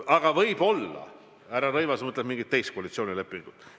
Aga võib-olla härra Rõivas mõtleb mingit teist koalitsioonilepingut.